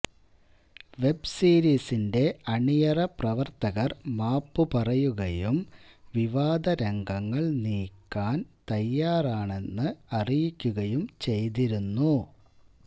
വെബ്സീരീസിന്റെ അണിയറപ്രവർത്തകർ മാപ്പു പറയുകയും വിവാദരംഗങ്ങൾ നീക്കാൻ തയാറാണെന്ന് അറിയിക്കുകയും ചെയ്തിരുന്നു